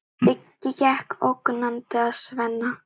Siggi gekk ógnandi að Svenna.